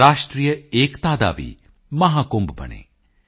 ਰਾਸ਼ਟਰੀਯ ਏਕਤਾ ਕਾ ਭੀ ਮਹਾਕੁੰਭ ਬਨੇ